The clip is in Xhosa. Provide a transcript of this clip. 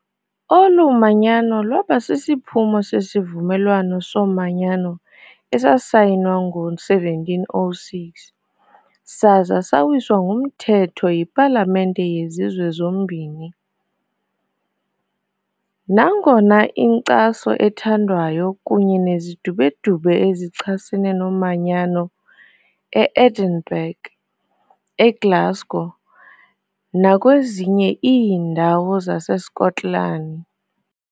Olu manyano lwaba sisiphumo seSivumelwano soManyano esasayinwa ngo-1706 saza sawiswa ngumthetho yipalamente yezizwe zombini, nangona inkcaso ethandwayo kunye nezidubedube ezichasene nomanyano e-Edinburgh, eGlasgow nakwezinye iindawo zaseSkotlani.